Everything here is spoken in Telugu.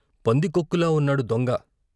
పందికొక్కులా ఉన్నాడు దొంగ '